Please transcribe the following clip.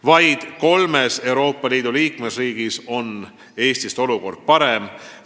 Vaid kolmes Euroopa Liidu liikmesriigis on olukord parem kui meil.